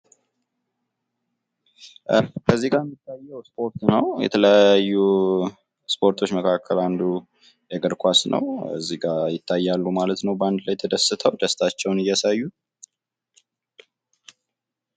እዚጋ የሚታዬው እስፖርት ነው። ከተለያዩ እስፖርቶች መካከል አንዱ እግር ኳስ ነው። እዚህ ጋ ይታያሉ ማለት ነው ባድ ላይ ተደስተው ደስታቸውን እያሳዩ።